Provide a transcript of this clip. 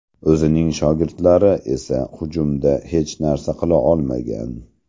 O‘zining shogirdlari esa hujumda hech narsa qila olmagan.